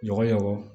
Ɲɔgɔn